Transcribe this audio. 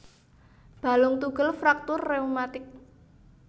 Balung tugel fraktur rheumatik